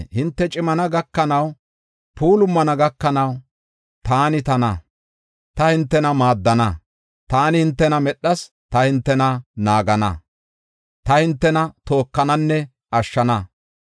Hinte cimana gakanaw, puulumana gakanaw taani tana; ta hintena maaddana. Taani hintena medhas; ta hintena naagana; ta hintena tookananne ashshana.